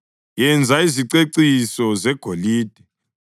Yenza iziceciso zegolide